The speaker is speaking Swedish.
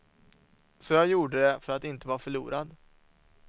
Så jag gjorde det för att inte vara förlorad.